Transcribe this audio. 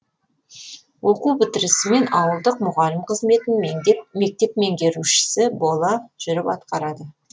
оқу бітірісімен ауылдық мұғалім қызметін мектеп меңгерушісі бола жүріп атқарады